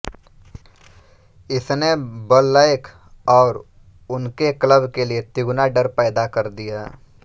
इसने बल्लैक और उनके क्लब के लिए तिगुना डर पैदा कर दिया